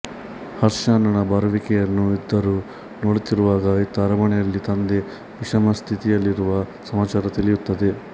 ಹರ್ಷ ಅಣ್ಣನ ಬರುವಿಕೆಯನ್ನು ಇದುರು ನೋಡುತ್ತಿರುವಾಗ ಇತ್ತ ಅರಮನೆಯಲ್ಲಿ ತಂದೆ ವಿಷಮಸ್ಥಿತಿಯಲ್ಲಿರುವ ಸಮಾಚಾರ ತಿಳಿಯುತ್ತದೆ